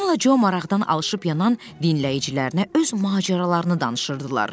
Tomla Co maraqdan alışıp yanan dinləyicilərinə öz macəralarını danışırdılar.